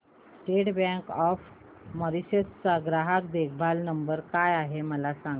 state Bank of Mauritius चा ग्राहक देखभाल नंबर काय आहे मला सांगा